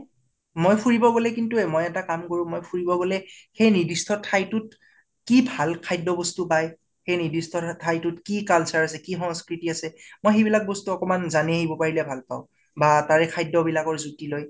মই ফুৰিব গʼলে কিন্তু, মৈ এটা কাম কৰো, মই ফুৰিব গʼলে সেই নিৰ্দিষ্ট ঠাইতোত কি ভাল খাদ্য় বস্তু পাই, সেই নিৰ্দিষ্ট ঠাইতোত কি culture আছে কি সংস্কৃতি আছে, মই সেইবিলাক বস্তু অকনমান জানিব পাৰিলে ভাল পাওঁ বা তাৰে খাদ্য় বিলাকৰ জুতি লৈ ।